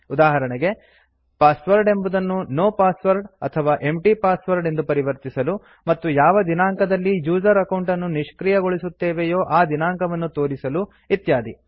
ಉದಾಹರಣೆಗೆ ಪಾಸ್ವರ್ಡ್ ಎಂಬುದನ್ನು no password ಅಥವಾ ಎಂಪ್ಟಿ ಪಾಸ್ವರ್ಡ್ ಎಂದು ಪರಿವರ್ತಿಸಲು ಮತ್ತು ಯಾವ ದಿನಾಂಕದಲ್ಲಿ ಯೂಸರ್ ಅಕೌಂಟ್ ಅನ್ನು ನಿಷ್ಕ್ರಿಯಗೊಳಿಸುತ್ತೇವೆಯೋ ಆ ದಿನಾಂಕವನ್ನು ತೋರಿಸಲು ಇತ್ಯಾದಿ